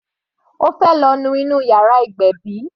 Ó fẹ́ lọ nu inú yàrá ìgbébí.